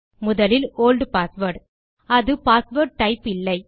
முதலில் old password அது password type இல்லை